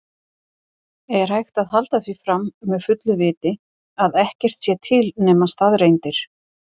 Er hægt að halda því fram með fullu viti að ekkert sé til nema staðreyndir?